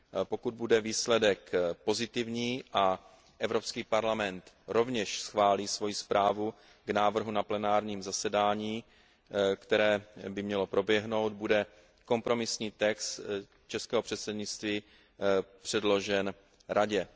Pokud bude výsledek pozitivní a Evropský parlament rovněž schválí svoji zprávu k návrhu na plenárním zasedání, které by mělo proběhnout, bude kompromisní text českého předsednictví předložen Radě.